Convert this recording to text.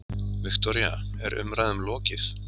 Viktoría, er umræðum lokið?